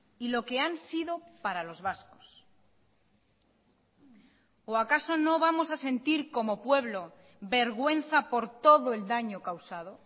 y lo que han sido para los vascos o acaso no vamos a sentir como pueblo vergüenza por todo el daño causado